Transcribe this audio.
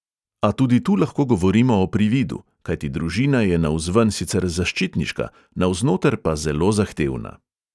A tudi tu lahko govorimo o prividu, kajti družina je navzven sicer zaščitniška, navznoter pa zelo zahtevna.